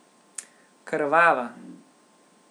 Krvava.